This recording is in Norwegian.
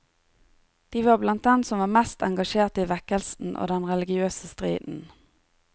De var blant dem som var mest engasjerte i vekkelsen og den religiøse striden.